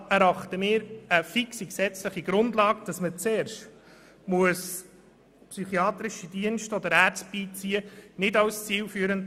Deshalb erachten wir eine fixe gesetzliche Grundlage nicht als zielführend, die fordert, dass zuerst psychiatrische Dienste oder Ärzte beigezogen werden müssen.